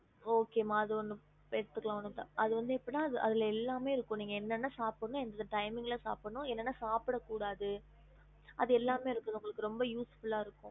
ஹம்